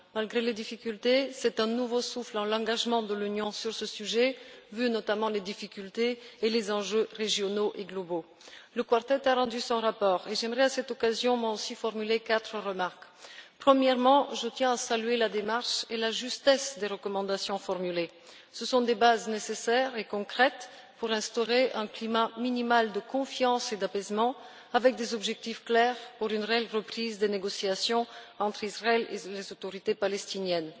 Malgré les difficultés, c'est un nouveau souffle dans l'engagement de l'Union sur ce sujet, notamment au vu des difficultés et des enjeux régionaux et globaux. Le Quartet a rendu son rapport. J'aimerais moi aussi, à cette occasion, formuler quatre remarques. Premièrement, je tiens à saluer la démarche adoptée et la justesse des recommandations formulées. Elles constituent des bases nécessaires et concrètes pour instaurer un climat minimal de confiance et d'apaisement assorti d'objectifs clairs pour une réelle reprise des négociations entre Israël et les autorités palestiniennes.